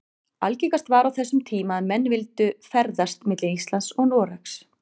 Algengast var á þessum tíma að menn vildu ferðast milli Íslands og Noregs.